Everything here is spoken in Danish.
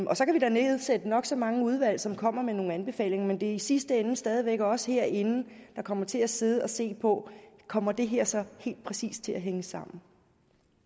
kan vi da nedsætte nok så mange udvalg som kommer med nogle anbefalinger men det er i sidste ende stadig væk os herinde der kommer til at sidde og se på kommer det her så helt præcis til at hænge sammen